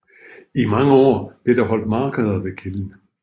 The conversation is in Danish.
I mange år blev der holdt markeder ved kilden